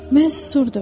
Mən susurdum.